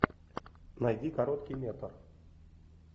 найди короткий метр